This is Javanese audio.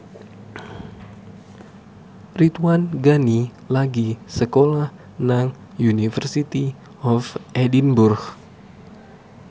Ridwan Ghani lagi sekolah nang University of Edinburgh